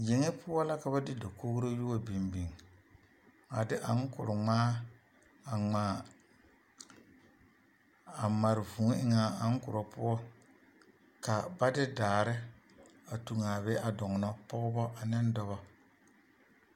Yeŋe poɔ la ka ba de dakogiri yi wa biŋ biŋ a de aŋkore ŋmaa a ŋmaa a mare vūū eŋ a aŋkorɔ poɔ ka ba de daare a toŋ a be a doɔnɔ, pɔgebɔ ne dɔbɔ.